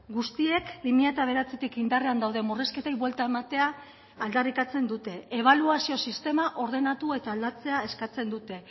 guztiek bi mila bederatzitik indarrean dauden murrizketei buelta ematea aldarrikatzen dute ebaluazio sistema ordenatu eta aldatzea eskatzen dute